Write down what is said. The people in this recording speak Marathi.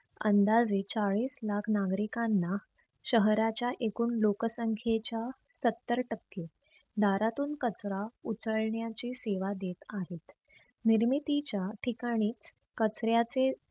आनंदाचे चाळीस लाख नागरिकांना शहराच्या एकूण लोकसंख्येच्या सत्तर टक्के दारातून कचरा उचलण्याची सेवा देत आहेत. निर्मितीच्या ठिकाणीच कचऱ्याचे